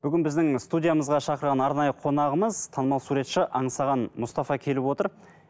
бүгін біздің студиямызға шақырған арнайы қонағымыз танымал суретші аңсаған мұстафа келіп отыр